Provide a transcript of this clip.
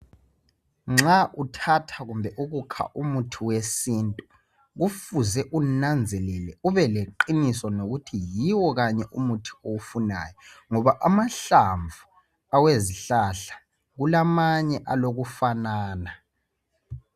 Nxa uthatha kumbe ukukha umuthi wesintu kufuze unanzelele ubeleqiniso ngokuthi yiwo kanye umuthi owufunayo ngoba amanye amahlamvu awezihlahla kulama ye alokufanana